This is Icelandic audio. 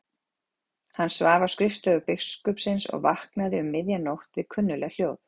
Hann svaf á skrifstofu biskupsins og vaknaði um miðja nótt við kunnugleg hljóð.